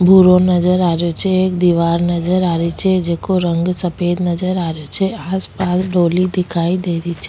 भूरो नजर आ रियो छे एक दिवार नजर आ रही छे जेको रंग सफ़ेद नजर आ रहियो छे आसपास डोली दिखाई दे रही छे।